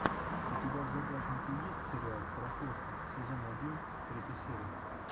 у тебя в загашнике есть сериал прослушка сезон один третья серия